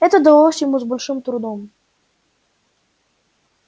это далось ему с большим трудом